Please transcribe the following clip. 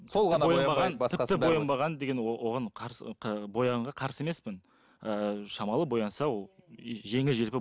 тіпті боянбаған деген оған қарсы боянуға қарсы емеспін ыыы шамалы боянса ол жеңіл желпі